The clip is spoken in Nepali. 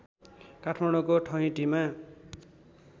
काठमाडौँको ठहिटीमा